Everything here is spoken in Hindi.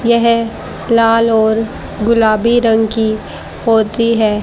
यह लाल और गुलाबी रंग की होती है।